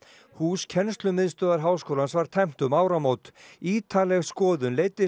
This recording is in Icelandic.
hús kennslumiðstöðvar háskólans var tæmt um áramót ítarleg skoðun leiddi